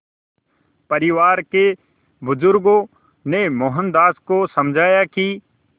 परिवार के बुज़ुर्गों ने मोहनदास को समझाया कि